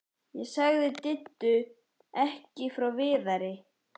Ég sagði Diddu ekki frá Viðari.